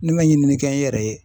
Ne ma ɲininikɛ n yɛrɛ ye